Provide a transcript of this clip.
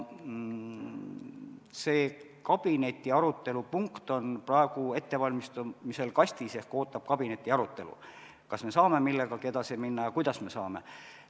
See kabineti arutelupunkt on praegu ettevalmistamisel ehk ootab kabineti arutelu, kas me saame millegagi edasi minna ja kuidas me seda saame.